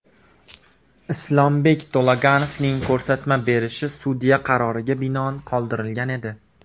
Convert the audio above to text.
Islombek To‘laganovning ko‘rsatma berishi sudya qaroriga binoan qoldirilgan edi.